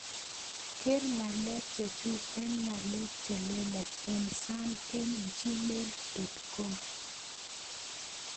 Ger ngalek chechug en ngalek chelelach en sam en gmail dot com